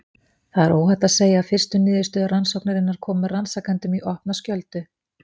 Það er óhætt að segja að fyrstu niðurstöður rannsóknarinnar komu rannsakendum í opna skjöldu.